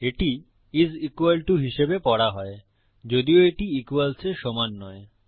এটি is equal to হিসাবে পড়া হয় যদিও এটি equals এর সমান নয়